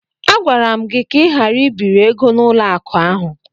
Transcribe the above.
Agwara m gị ka ị ghara ibiri ego n'ụlọ akụ ahụ!